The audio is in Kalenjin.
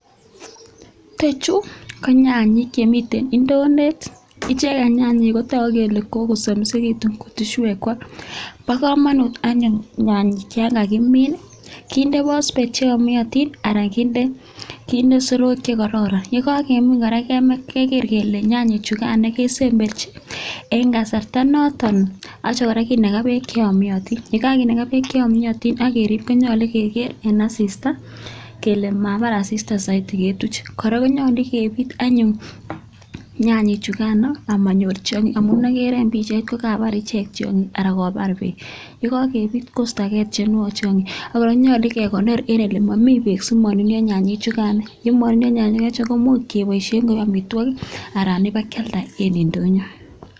Chechu ko nyanyek chemite indondet icheket nyanyek kotoku kele kokosamisitu kutuswekwak bo kamanu anyun nyanyek ya kakimin kinde phosphate cheyomiotin anan kinde soroek che kororon ye kakemin kora keger kele nyanyek chukan kesemberji eng kasarta noton. Atya kora kinaka beek che yomiotin ye kakinaka beek cheyomiotin ak kerib konyolu keger eng asista kele mabar asista saidi ketuch kora konyolu kebit amanyor tiongik amu agere eng pichait ko kobar icheget tiongik ako kobar beek ye kakebit koistogei tiongik che konget. Ak konyolu kekonor eng ole mami beek simanunio nyanyek chukan ye manunio nyanyek chu komuch keboishe koek amitwogik anan ipkealda eng indonyo.